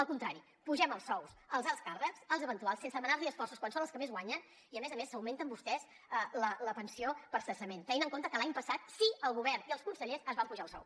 al contrari apugem els sous als alts càrrecs als eventuals sense demanar los esforços quan són els que més guanyen i a més a més s’augmenten vostès la pensió per cessament tenint en compte que l’any passat sí que el govern i els consellers es van apujar el sou